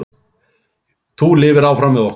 Þú lifir áfram með okkur.